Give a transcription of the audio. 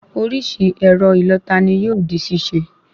Orísìí ẹ̀rọ ìlọta ni yóò di ṣíṣe